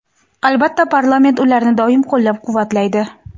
albatta parlament ularni doim qo‘llab-quvvatlaydi.